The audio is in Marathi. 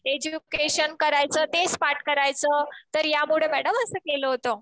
एज्युकेशन करायचं. तेच पाठ करायचं. तर यामुळे मॅडम असं केलं होत.